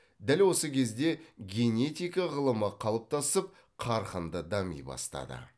дәл осы кезде генетика ғылымы қалыптасып қарқынды дами бастады